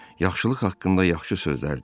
Yaxşılıq haqqında yaxşı sözlər dedi.